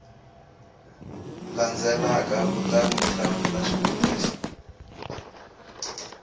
landzelaka kutani u hlamula swivutiso